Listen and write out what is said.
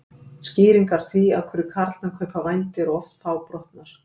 Skýringar á því af hverju karlmenn kaupa vændi eru oft fábrotnar.